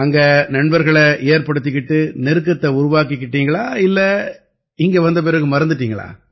அங்க நண்பர்களை ஏற்படுத்திக்கிட்டு நெருக்கத்தை உருவாக்கிக்கிட்டீங்களா இல்லை இங்க வந்த பிறகு மறந்துட்டீங்களா